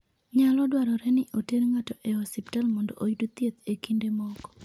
Nyalo dwarore ni oter ng'ato e osiptal mondo oyud thieth e kinde moko.